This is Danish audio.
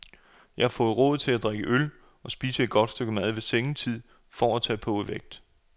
Jeg har fået det råd at drikke en øl og spise et godt stykke mad ved sengetid for at tage på i vægt.